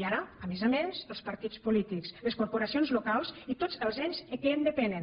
i ara a més a més els partits polítics les corporacions locals i tots els ens que en depenen